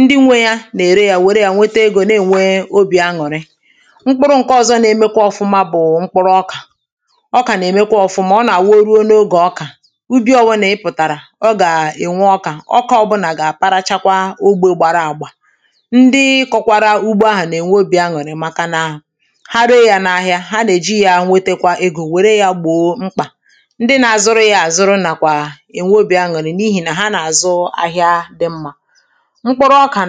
ndị nwe na ere ya were yȧ nwete egȯ na-ènwe obì añụ̀rị mkpụrụ̇ ǹke ọ̀zọ na-emekwa ọ̀fụma bụ̀ mkpụrụ ọkà ọkà nà-èmekwa ọ̀fụma ọ nà-àwụ oruȯ n’ogè ọkà ubi̇ obula ịpụ̀tàrà ọ gà-ènwe ọkà ọkà ọbụnà gà-àparachakwa ogbė gbara àgbà ndị kọkwara ugbo ahụ̀ nà-ènwe obì añụ̀rị maka nà ha rėė yȧ n’ahịa ha nà-èji yȧ nwetekwa egȯ wère yȧ gbòo mkpà ndị na-azụrụ ya àzụrụ nàkwà ènwe obì añụ̀rị n’ihì nà ha nà-àzụ ahịa dị mmȧ